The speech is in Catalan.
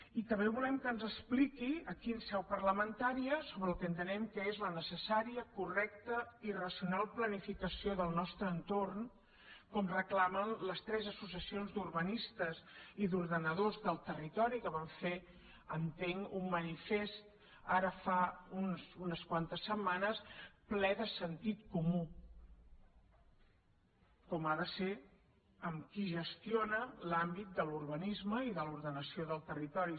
i també volem que ens expliqui aquí en seu parlamentària sobre el que entenem que és la necessària correcta i racional planificació del nostre entorn com reclamen les tres associacions d’urbanistes i d’ordenadors del territori que van fer entenc un manifest ara fa unes quantes setmanes ple de sentit comú com ha de ser amb qui gestiona l’àmbit de l’urbanisme i de l’ordenació del territori